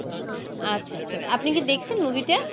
আচ্ছা আচ্ছা আপনি কি দেখেছেন movie টা